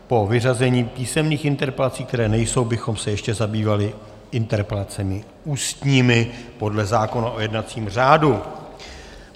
Po vyřazení písemných interpelací, které nejsou, bychom se ještě zabývali interpelacemi ústními podle zákona o jednacím řádu.